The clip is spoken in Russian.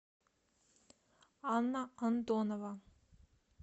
анна антонова